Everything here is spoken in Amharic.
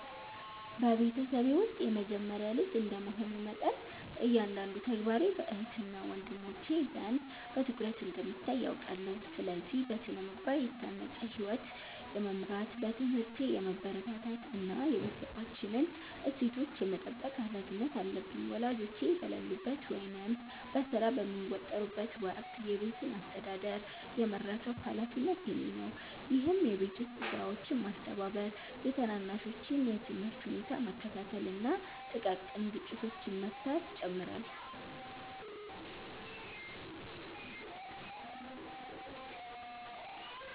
በቤተሰቤ ውስጥ የመጀመሪያ ልጅ እንደ መሆኔ መጠን፤ እያንዳንዱ ተግባሬ በእህትና ወንድሞቼ ዘንድ በትኩረት እንደሚታይ አውቃለሁ። ስለዚህ: በሥነ-ምግባር የታነጸ ሕይወት የመምራት፣ በትምህርቴ የመበርታት እና የቤተሰባችንን እሴቶች የመጠበቅ ኃላፊነት አለብኝ። ወላጆቼ በሌሉበት ወይም በሥራ በሚወጠሩበት ወቅት የቤቱን አስተዳደር የመረከብ ኃላፊነት የእኔ ነው፤ ይህም የቤት ውስጥ ሥራዎችን ማስተባበር፤ የታናናሾቼን የትምህርት ሁኔታ መከታተል እና ጥቃቅን ግጭቶችን መፍታትን ይጨምራል።